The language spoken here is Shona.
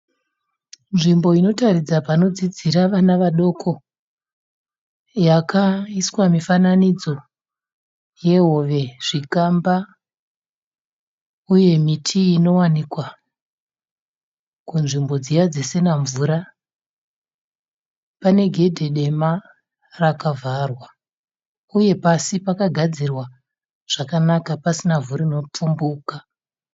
Nzvimbo inotaridza pano dzidzira vana vadoko, yakaiswa mifananidzo yehove, zvikamba uye miti inowanikwa kunzvimbo dziya dzisina mvura. Pane gedhe dema raka vharwa, uye pasi paka gadzirwa zvakanaka pasina ivhu rino pfumbuka.